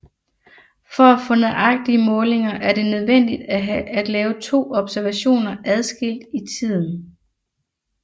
For at få nøjagtige målinger er det nødvendigt at lave to observationer adskilt i tiden Δt